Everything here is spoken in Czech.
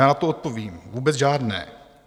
Já na to odpovím: vůbec žádné.